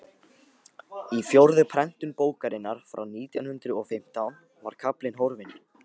í fjórðu prentun bókarinnar frá nítján hundrað og fimmtán var kaflinn horfinn